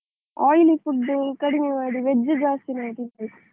Oily food ಕಡಿಮೆ ಮಾಡಿ veg ಜಾಸ್ತಿ ಮಾಡಿದ್ರೆ ಸಾಕು.